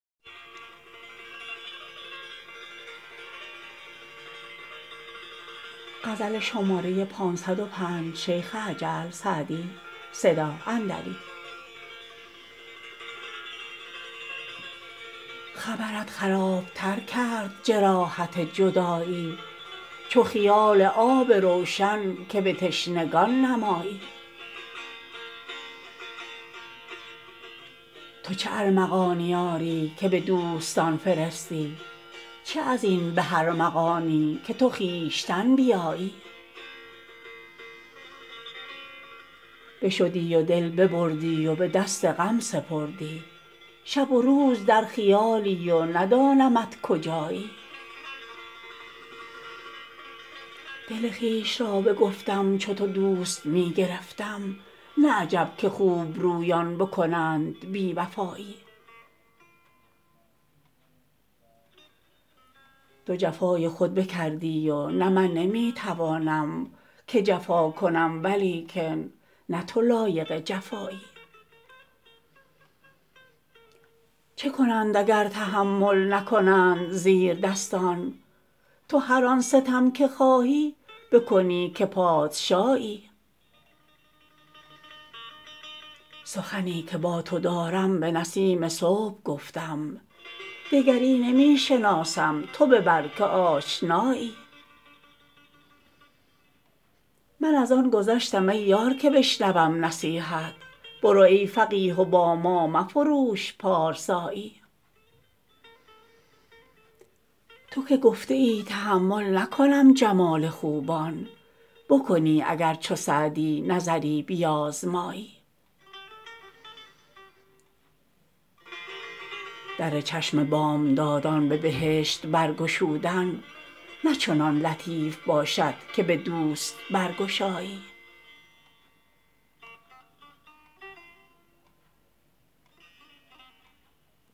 خبرت خراب تر کرد جراحت جدایی چو خیال آب روشن که به تشنگان نمایی تو چه ارمغانی آری که به دوستان فرستی چه از این به ارمغانی که تو خویشتن بیایی بشدی و دل ببردی و به دست غم سپردی شب و روز در خیالی و ندانمت کجایی دل خویش را بگفتم چو تو دوست می گرفتم نه عجب که خوبرویان بکنند بی وفایی تو جفای خود بکردی و نه من نمی توانم که جفا کنم ولیکن نه تو لایق جفایی چه کنند اگر تحمل نکنند زیردستان تو هر آن ستم که خواهی بکنی که پادشایی سخنی که با تو دارم به نسیم صبح گفتم دگری نمی شناسم تو ببر که آشنایی من از آن گذشتم ای یار که بشنوم نصیحت برو ای فقیه و با ما مفروش پارسایی تو که گفته ای تأمل نکنم جمال خوبان بکنی اگر چو سعدی نظری بیازمایی در چشم بامدادان به بهشت برگشودن نه چنان لطیف باشد که به دوست برگشایی